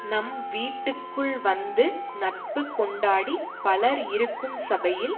நம் வீட்டுக்குள் வந்து நட்பு கொண்டாடிப் பலர் இருக்கும் சபையில்